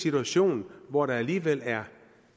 situation hvor der alligevel er